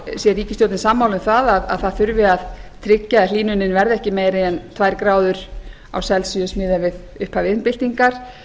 sé ríkisstjórnin sammála um að það þurfi að tryggja að hlýnunin verði ekki meiri en tvær gráður miðað við upphaf iðnbyltingar